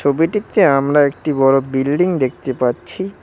ছবিটিতে আমরা একটি বড় বিল্ডিং দেখতে পাচ্ছি।